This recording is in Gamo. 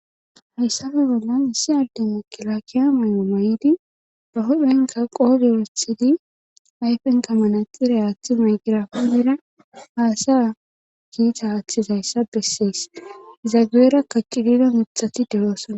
hayssafe bollan issi adde ukkila kiya mayo may7idi ba hophenka qoode orethidi ayfen kamanaxiray aaththi maygirafoonera haasaya kiita aaththizayssa bessees zageera kaqcidida mixati dewoosona